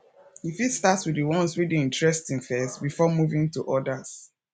you fit start with the ones wey dey interesting first before moving to others